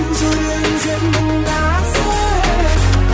жүрегің сенің нәзік